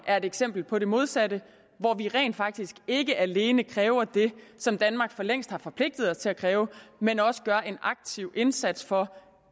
er et eksempel på det modsatte hvor vi rent faktisk ikke alene kræver det som danmark forlængst har forpligtet sig til at kræve men også gør en aktiv indsats for